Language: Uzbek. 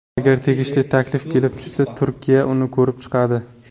Agar tegishli taklif kelib tushsa, Turkiya uni ko‘rib chiqadi.